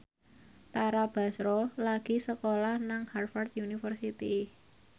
Tara Basro lagi sekolah nang Harvard university